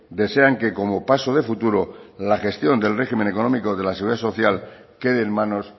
desean que como paso de futuro la gestión del régimen económico de la seguridad social quede en manos